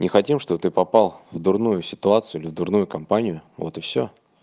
не хотим чтобы ты попал в дурную ситуацию или дурную компанию вот и все